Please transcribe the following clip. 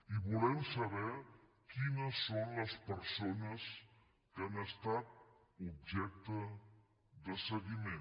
i volem saber quines són les persones que han estat objecte de seguiment